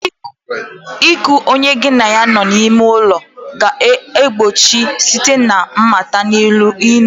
iku onye gi na ya bi n'ime ụlọ ga-achọ mgbochi site na mmata n'ọdịnihu.